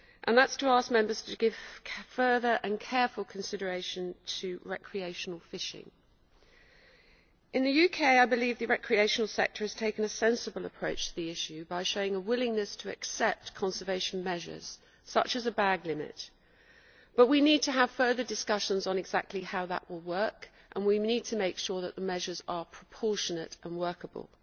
That is to ask Members to give further and careful consideration to recreational fishing. In the UK I believe the recreational sector has taken a sensible approach to the issue by showing a willingness to accept conservation measures, such as the bag limit, but we need to have further discussions on exactly how that will work and we need to make sure that the measures are proportionate and workable.